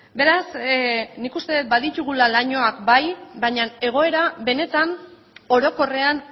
beraz nik uste dut baditugula lainoa bai baina egoera benetan orokorrean